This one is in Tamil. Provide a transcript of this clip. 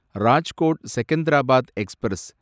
ராஜ்கோட் செகந்தராபாத் எக்ஸ்பிரஸ்